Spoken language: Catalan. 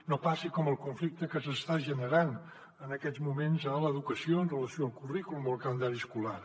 no passi com el conflicte que s’està generant en aquests moments a l’educació amb relació al currículum o al calendari escolar